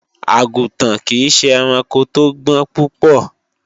Àgùntàn kìí ṣe ẹranko tó gbọ́n púpọ̀